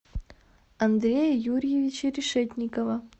андрея юрьевича решетникова